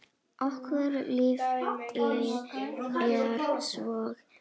Og loftið er svo ferskt.